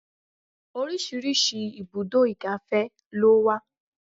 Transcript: Oríṣiríṣi ibùdó igàfẹ́ ló wà.